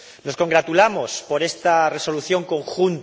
Nos congratulamos por esta Resolución común